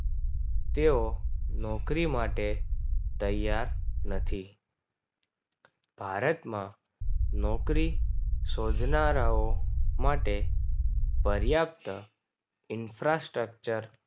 તેઓ નોકરી માટે તૈયાર નથી ભારતમાં નોકરી શોધનારાઓ માટે પર્યાપ્ત Infrastructure